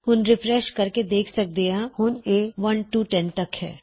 ਇਸਨੂੰ ਰਿਫਰੈੱਸ਼ ਕਰਕੇ ਅਸੀਂ ਦੇਖ ਸਕਦੇ ਹਾਂ ਹੁਣ ਇਹ 1 ਤੋਂ 10 ਤੱਕ ਨੇ